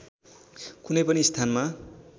कुनै पनि स्थानमा